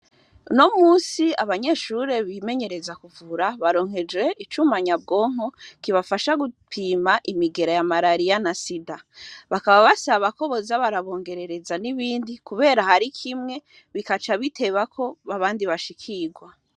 No musi abanyeshuri bimenyereza kuvura baronkejwe icumanyabwonko kibafasha gupima imigera ya malariya na sida bakaba basabakoboza barabongerereza n'ibindi, kubera hari kimwe bikaca bitebako babandi bashikirwa.